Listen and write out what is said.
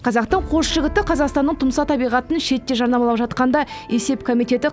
қазақтың қос жігіті қазақстанның тұмса табиғатын шетте жарнамалап жатқанда есеп комитеті